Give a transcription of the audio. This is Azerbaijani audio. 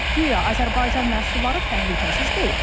Guya Azərbaycan məhsulları təhlükəsiz deyil.